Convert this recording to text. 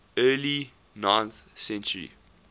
early ninth century